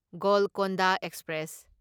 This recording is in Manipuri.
ꯒꯣꯜꯀꯟꯗ ꯑꯦꯛꯁꯄ꯭ꯔꯦꯁ